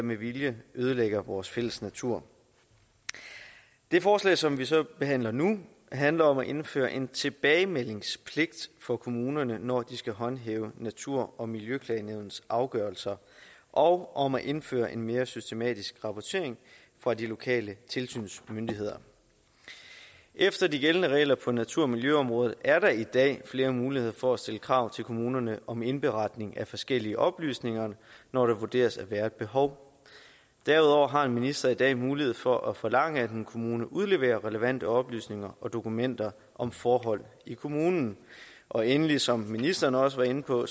med vilje ødelægger vores fælles natur det forslag som vi så behandler nu handler om at indføre en tilbagemeldingspligt for kommunerne når de skal håndhæve natur og miljøklagenævnets afgørelser og om at indføre en mere systematisk rapportering fra de lokale tilsynsmyndigheder efter de gældende regler på natur og miljøområdet er der i dag flere muligheder for at stille krav til kommunerne om indberetning af forskellige oplysninger når der vurderes at være et behov derudover har en minister i dag mulighed for at forlange at en kommune udleverer relevante oplysninger og dokumenter om forhold i kommunen og endelig som ministeren også var inde på